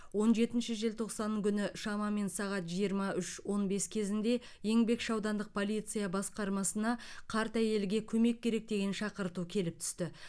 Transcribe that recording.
он жетінші желтоқсан күні шамамен сағат жиырма үш он бес кезінде еңбекші аудандық полиция басқармасына қарт әйелге көмек керек деген шақырту келіп түсті